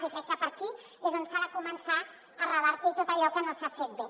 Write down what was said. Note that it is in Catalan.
i crec que per aquí és per on s’ha de començar a revertir tot allò que no s’ha fet bé